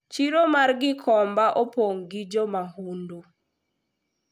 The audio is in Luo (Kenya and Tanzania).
chiro mar gikomba opong gi jomahundu